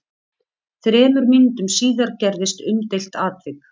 Þremur mínútum síðar gerðist umdeilt atvik.